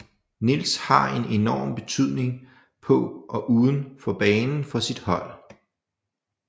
Niels har en enorm betydning på og uden for banen for sit hold